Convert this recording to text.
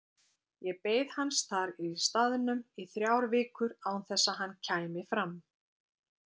Ég beið hans þar í staðnum í þrjár vikur án þess að hann kæmi fram.